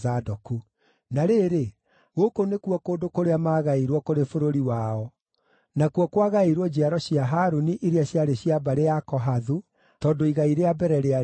Na rĩrĩ, gũkũ nĩkuo kũndũ kũrĩa maagaĩirwo kũrĩ bũrũri wao (nakuo kwagaĩirwo njiaro cia Harũni iria ciarĩ cia mbarĩ ya Kohathu, tondũ igai rĩa mbere rĩarĩ rĩao):